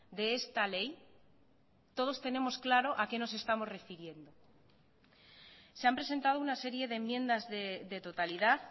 de esta ley todos tenemos claro a que nos estamos refiriendo se han presentado una serie de enmiendas de totalidad